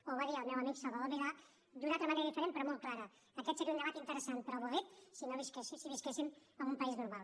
o ho va dir el meu amic salvador milà d’una altra manera diferent però molt clara aquest seria un debat interessant però avorrit si visquéssim a un país normal